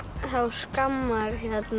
skammar